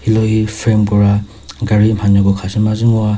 lohi frame kora gari mhanyoko khasü mazü ngoa.